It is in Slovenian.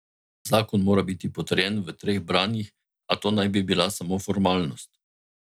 Zakon mora biti potrjen v treh branjih, a to naj bi bila samo formalnost.